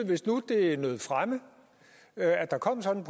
hvis nu det nød fremme at der kom sådan